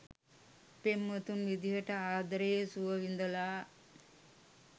පෙම්වතුන් විදියට ආදරයේ සුව විඳලා